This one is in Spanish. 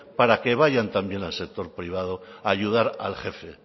para que vayan también al sector privado a ayudar al jefe